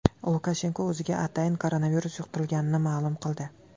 Lukashenko o‘ziga atayin koronavirus yuqtirilganini ma’lum qildi.